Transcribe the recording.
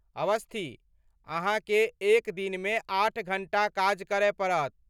अस्वथी, अहाँके एक दिनमे आठ घंटा काज करय पड़त।